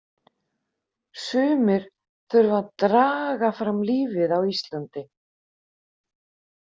Sumir þurfa að draga fram lífið á Íslandi.